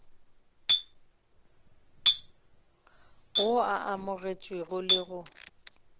wo o amogetšwego le go